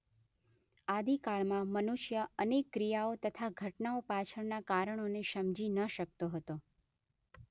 આદિકાળમાં મનુષ્ય અનેક ક્રિયાઓ તથા ઘટનાઓ પાછળનાં કારણોને સમજી ન શકતો હતો.